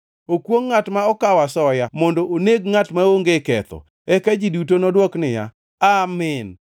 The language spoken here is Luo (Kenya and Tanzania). “Okwongʼ ngʼat ma okawo asoya mondo oneg ngʼat maonge ketho.” Eka ji duto nodwok niya, “Amin!”